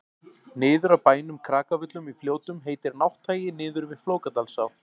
niður af bænum krakavöllum í fljótum heitir nátthagi niður við flókadalsá